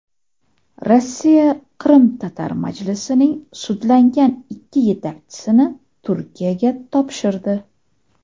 Rossiya Qrimtatar majlisining sudlangan ikki yetakchisini Turkiyaga topshirdi.